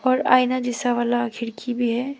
और आइना जैसा वाला खिड़की भी है।